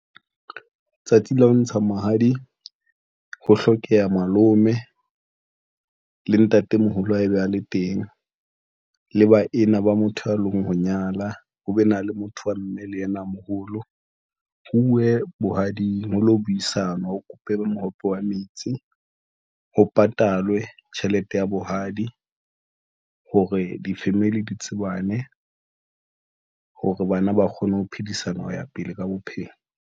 Tsatsing la ho ntsha mahadi, ho hlokeha malome le ntatemoholo ha e be a le teng. Le ba ena ba motho ya leng, ho nyala ho be na le motho wa mme le yena a moholo. Ho uwe bohading ho lo buisana ho kope mohope wa metsi, ho patalwe tjhelete ya bohadi hore di-family di tsebane hore bana ba kgone ho phedisana ho ya pele ka bophelo.